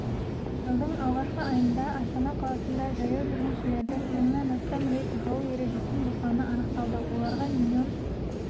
жылдың алғашқы айында астана қаласында жаяу жүргіншілердің мыңнан астам рет жол ережесін бұзғаны анықталды оларға миллион